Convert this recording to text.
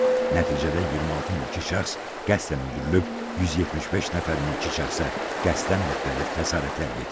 Nəticədə 26 mülki şəxs qəsdən öldürülüb, 175 nəfər mülki şəxsə qəsdən müxtəlif xəsarətlər yetirilib.